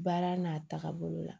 Baara n'a taaga bolo la